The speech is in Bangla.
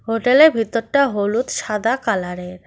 হোটেলের ভিতরটা হলুদ সাদা কালারের।